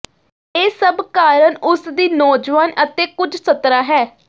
ਇਹ ਸਭ ਕਾਰਨ ਉਸ ਦੀ ਨੌਜਵਾਨ ਅਤੇ ਕੁਝ ਸੱਤਰਾ ਹੈ